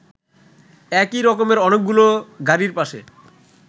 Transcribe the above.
একই রকমের অনেকগুলো গাড়ির পাশে